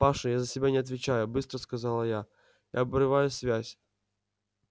паша я за себя не отвечаю быстро сказал я обрывая связь